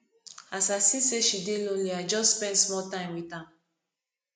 as i see sey she dey lonely i just spend small time wit am